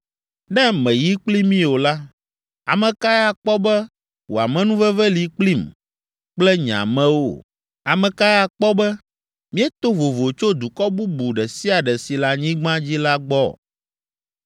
Ne mèyi kpli mí o la, ame kae akpɔ be wò amenuveve li kplim kple nye amewo? Ame kae akpɔ be míeto vovo tso dukɔ bubu ɖe sia ɖe si le anyigba dzi la gbɔ?”